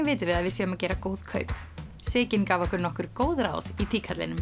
vitum við að við séum að gera góð kaup Sigyn gaf okkur nokkur góð ráð í